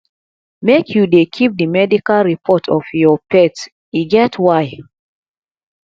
make you dey keep di medical report of your pet e get why